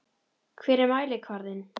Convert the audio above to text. Hver er mælikvarðinn?